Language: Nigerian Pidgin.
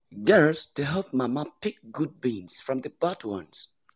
girls dey help mama pick good beans from the bad ones.